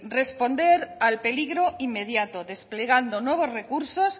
responder al peligro inmediato desplegando nuevos recursos